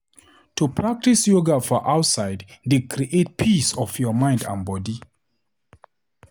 To practise yoga for outside dey create peace of your mind and body.